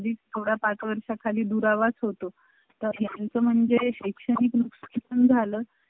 हम्म आणि point म्हणजे गाळा स्वतःचाच आहे त्याचा